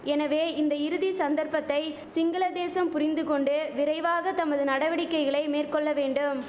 எனவே இந்த இறுதி சந்தர்ப்பத்தை சிங்கள தேசம் புரிந்து கொண்டு விரைவாக தமது நடவடிக்கைகளை மேற்கொள்ள வேண்டும்